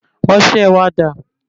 Ọsẹ wa dà?